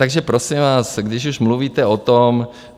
Takže prosím vás, když už mluvíte o tom...